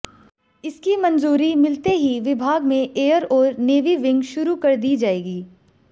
इसकी मंजूरी मिलते ही विभाग में एयर और नेवी विंग शुरू कर दी जाएंगी